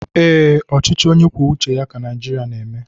Ee, ọchịchị onye kwuo uche ya ka Naijiria na-eme